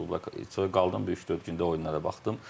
Bu klubla qaldım bir üç-dörd gündə oyunlara baxdım.